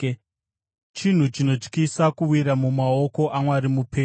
Chinhu chinotyisa kuwira mumaoko aMwari mupenyu.